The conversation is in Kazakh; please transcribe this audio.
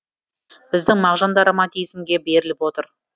біздің мағжан да романтизмге беріліп отыр